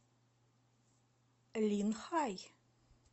линхай